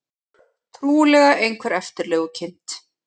Trúlega einhver eftirlegukind.